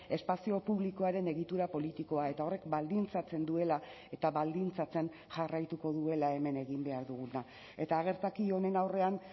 espazio publikoaren egitura politikoa eta horrek baldintzatzen duela eta baldintzatzen jarraituko duela hemen egin behar duguna eta gertaki honen aurrean